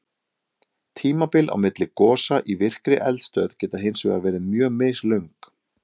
Tímabil á milli gosa í virkri eldstöð geta hins vegar verið mjög mislöng.